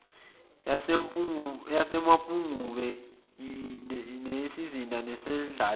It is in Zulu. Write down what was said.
yasemapungubwe siyisizinda nesendlalelo